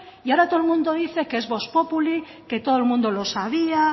y ahora todo el mundo dice que es vox populi que todo el mundo lo sabía